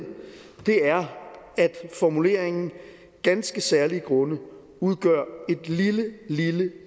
er at formuleringen ganske særlige grunde udgør et